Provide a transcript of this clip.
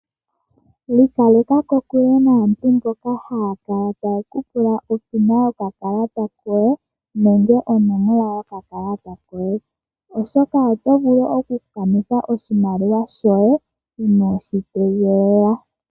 Ikaleka ko kule naantu mboka haya kala tayeku pula opina yoka kalata koye, nenge onomola yoka kalata koye, oshoka oto vulu oku kanitha oshimaliwa shoye, inooshi tegelela.